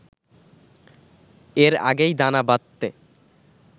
এর আগেই দানা বাঁধতে